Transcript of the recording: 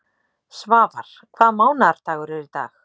Svafar, hvaða mánaðardagur er í dag?